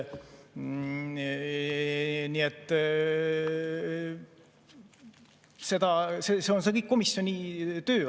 Nii et see on kõik komisjoni töö.